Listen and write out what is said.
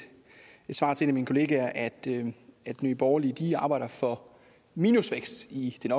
svar til en af mine kollegaer at nye nye borgerlige arbejder for minusvækst i den